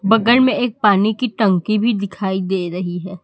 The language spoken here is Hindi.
बगल में एक पानी की टंकी भी दिखाई दे रही है।